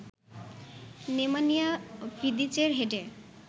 Nemanja ভিদিচের হেডে